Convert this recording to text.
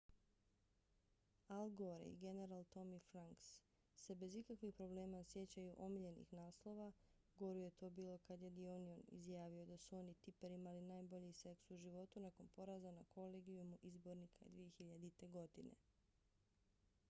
al gore i general tommy franks se bez ikakvih problema sjećaju omiljenih naslova goru je to bilo kad je the onion izjavio da su on i tipper imali najbolji seks u životu nakon poraza na kolegijumu izbornika 2000. godine